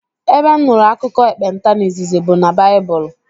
Ebe m nụrụ akụkọ ekpenta n'izizi bụ n' baibulu.